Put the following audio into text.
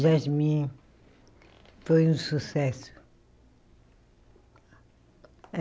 Jasmim foi um sucesso.